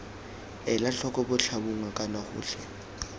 ela tlhoko botlhabongwe kana gotlhe